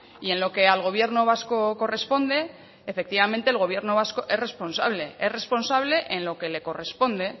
y en lo que al gobierno vasco corresponde efectivamente el gobierno vasco es responsable es responsable en lo que le corresponde